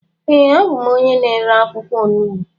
ee, abụ m onye na-ere akwụkwọ onugbu